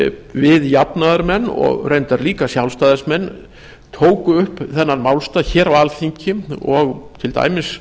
við jafnaðarmenn og reyndar líka sjálfstæðismenn tóku upp þennan málstað hér á alþingi og til dæmis